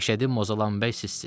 Məşədi Mozalan bəy sizsiz.